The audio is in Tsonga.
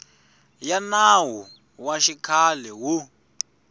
ya nawu wa xikhale wo